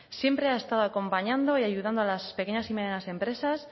siempre ha estado acompañando y ayudando a las pequeñas y medianas empresas